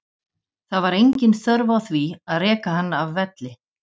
Það var engin þörf á því að reka hann af velli.